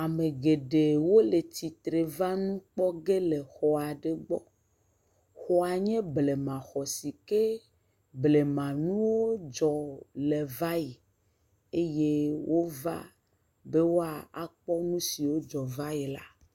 Ame geɖe wole tsitre va nu kpɔ ge le xɔ aɖe gbɔ. Xɔa nye blemaxɔ si ke blema nuwo dzɔ le va yi eye wova be woakpɔ nu siwo dzɔ va yi la.